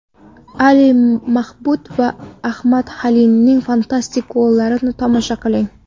Ali Mabhut va Ahmad Halilning fantastik gollarini tomosha qiling.